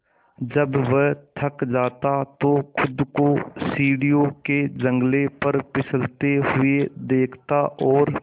जब वह थक जाता तो खुद को सीढ़ियों के जंगले पर फिसलते हुए देखता और